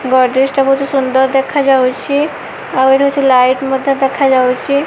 ଗଡ଼ରେଜ ଟା ବହୁତ ସୁନ୍ଦର ଦେଖା ଯାଉଛି ଆଉ ଏଠୁ କିଛି ଲାଇଟି ମଧ୍ୟ ଦେଖା ଯାଉଛି।